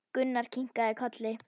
Gunnar kinkaði kolli.